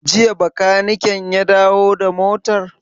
Jiya bakaniken ya dawo da motar?